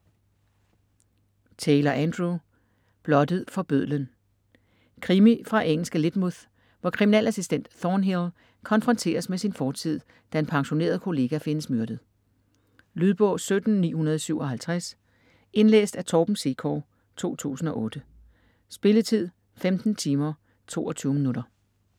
Taylor, Andrew: Blottet for bødlen Krimi fra engelske Lydmouth, hvor kriminalassistent Thornhill konfronteres med sin fortid, da en pensioneret kollega findes myrdet. Lydbog 17957 Indlæst af Torben Sekov, 2008. Spilletid: 15 timer, 22 minutter.